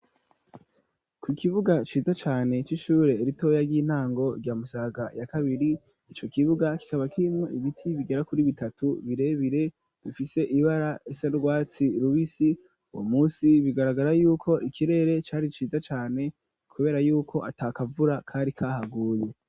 Ku kibuga ciza cane c'ishure ritoya ry'intango rya Musaga ya kabiri, ivo kibuga kikaba kirimwo ibiti bigera kuri bitatu birebire bifise ibara risa n'urwatsi rubisi uwo munsi bigaragara yuko ikirere cari ciza cane kubera yuko atakavura kari kahaguye.